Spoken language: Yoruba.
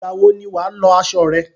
Ìgbà wọ ni wà á lọ aṣọ rẹ?